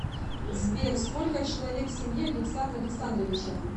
сбер сколько человек в семье александра александровича